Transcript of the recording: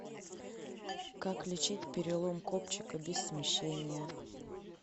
как лечить перелом копчика без смещения